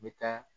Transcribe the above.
N bɛ taa